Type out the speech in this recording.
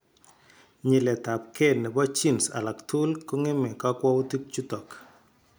Nyiletabge nebo genes alak tuguk kong'eme kakwautik chutok